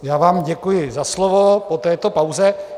Já vám děkuji za slovo po této pauze.